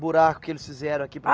buraco que eles fizeram aqui.